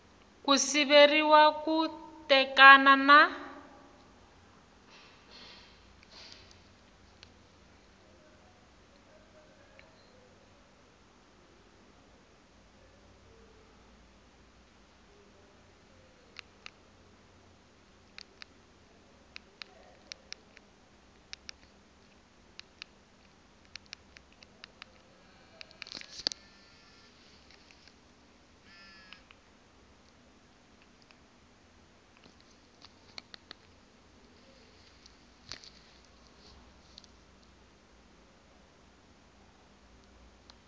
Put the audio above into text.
ku siveriwa ku tekana na